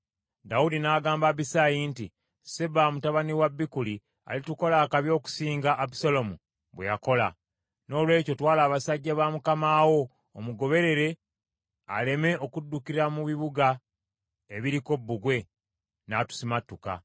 Dawudi n’agamba Abisaayi nti, “Seba mutabani wa Bikuli alitukola akabi okusinga Abusaalomu bwe yakola. Noolwekyo twala abasajja ba mukama wo omugoberere aleme okuddukira mu bibuga ebiriko bbugwe, n’atusimatuka.”